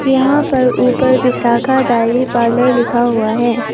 यहां पर ऊपर विशाखा डायरी पार्लर लिखा हुआ है।